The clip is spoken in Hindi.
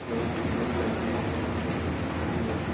बैंक की गेट लगी हुई है। खुली है।